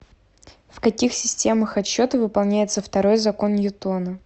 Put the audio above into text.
в каких системах отсчета выполняется второй закон ньютона